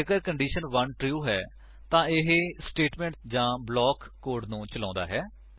ਜੇਕਰ condition true ਹੈ ਤਾਂ ਇਹ ਸਟੇਟਮੇਂਟ ਜਾਂ ਬਲਾਕ ਕੋਡ 1 ਨੂੰ ਚ੍ਲੋਉਂਦਾ ਹੈ